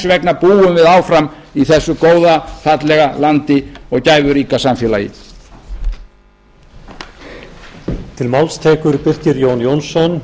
vegna búum við áfram í þessu góða fallega landi og gæfuríka samfélagi jón klárar já í fyrri spólu